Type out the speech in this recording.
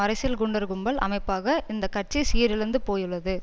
அரசியல் குண்டர் கும்பல் அமைப்பாக இந்த கட்சி சீரழிந்து போயுள்ளது